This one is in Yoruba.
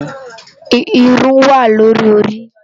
Irún wá lóri óri